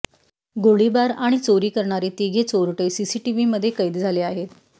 गोळीबार आणि चोरी करणारे तिघे चोरटे सीसीटीव्हीमधे कैद झाले आहेत